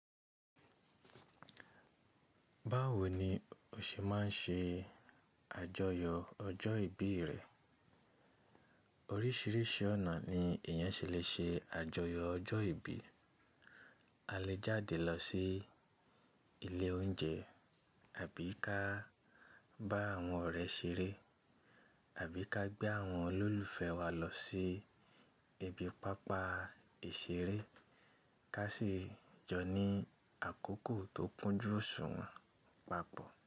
Báwo ni o ṣe máa ń ṣe àjọyọ̀ ọjọ́ ìbí rẹ? Oríṣìíríṣìí ọ̀nà ni èèyàn ṣe lè ṣe àjọyọ̀ ọjọ́ ìbí. A lè jáde lọ sí ilé oúnjẹ àbí ká bá àwọn ọ̀rẹ́ ṣeré àbí ká gbé àwọn olólùfẹ́ wa lọ sí ibi pápá ìṣeré ká sì jọ ní àkókò tó kúnjú oṣùwọ̀n papọ̀